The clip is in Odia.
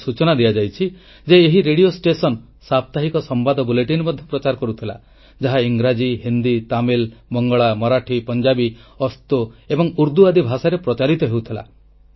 ମୋତେ ସୂଚନା ଦିଆଯାଇଛି ଯେ ଏହି ନେତାଜିଙ୍କ ରେଡ଼ିଓ ଷ୍ଟେସନ ମାଧ୍ୟମରେ ସାପ୍ତାହିକ ସମ୍ବାଦ ବୁଲେଟିନ ମଧ୍ୟ ପ୍ରଚାର କରାଯାଉଥିଲା ଯାହା ଇଂରାଜୀ ହିନ୍ଦୀ ତାମିଲ ବଙ୍ଗଳା ମରାଠୀ ପଞ୍ଜାବୀ ଅସ୍ତୋ ଏବଂ ଉର୍ଦ୍ଦୁ ଆଦି ଭାଷାରେ ପ୍ରଚାରିତ ହେଉଥିଲା